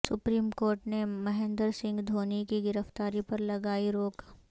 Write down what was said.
supreme court نے مہندر سنگھ دھونی کی گرفتاری پر لگائی روک